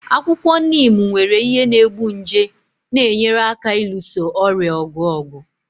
Akwụkwọ Neem nwere ihe na-egbu nje na-enyere aka ịlụso ọrịa ọgụ ọgụ.